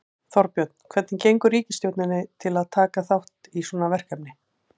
Þorbjörn, hvað gengur ríkisstjórninni til að taka þátt í svona verkefni?